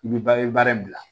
I bɛ ba i bɛ baara in bila